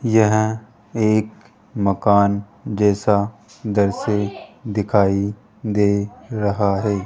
यहां एक मकान जैसा दृश्य दिखाई दे रहा है।